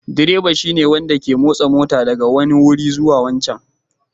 Direba shine wanda ke motsa mota daga wannan wuri zuwa wancan